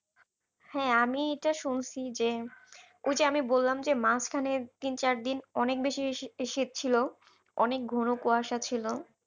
হ্যাঁ আমি এটা শুনছি যে ওই যে আমি বললাম যে মাঝখানে তিন চারদিন অনেক বেশি শীত ছিল অনেক ঘন কুয়াশা ছিল।